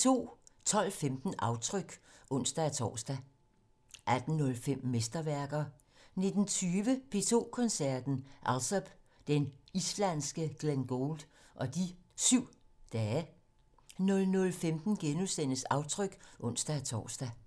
12:15: Aftryk (ons-tor) 18:05: Mesterværker 19:20: P2 Koncerten - Alsop, den islandske Glenn Gould og de 7 dage 00:15: Aftryk *(ons-tor)